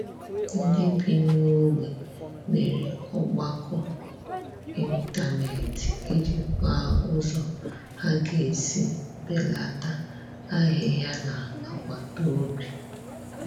Ndị bi n'ogbe mere ọgbakọ ịntanet iji kpaa ụzọ ha ga-esi belata ahịhịa n'agbataobi